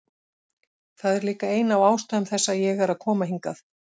Það er líka ein af ástæðum þess að ég er að koma hingað.